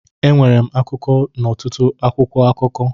Enwere m akụkọ n'ọtụtụ akwụkwọ akụkọ.